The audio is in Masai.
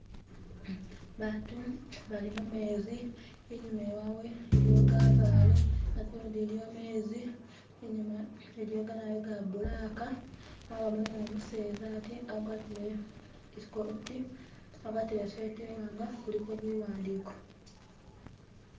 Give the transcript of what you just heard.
Abantu bali mumenzi, inyuma iwawe iliyo gabale ate nundi iliyo gamezi inyuma iliyo ganayu ga blaka mabamu nu'museza ati agwatile ikoti agwatile isweta imwanga iliko biwandiko